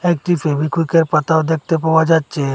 একটি ফেবিকুইকের পাতাও দেখতে পাওয়া যাচ্ছে।